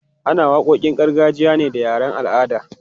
Ana waƙoƙin gargajiya ne da yaren al'adar.